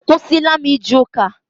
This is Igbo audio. Akwụsịla m ije ụka.